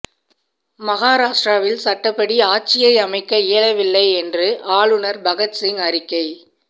மகாராஷ்டிராவில் சட்டப்படி ஆட்சியை அமைக்க இயலவில்லை என்று ஆளுநர் பகத்சிங் அறிக்கை